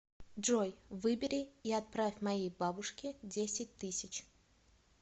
джой выбери и отправь моей бабушке десять тысяч